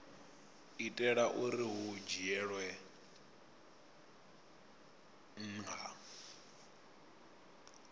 itela uri hu dzhielwe nha